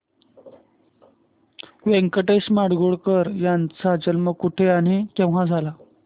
व्यंकटेश माडगूळकर यांचा जन्म कुठे आणि केव्हा झाला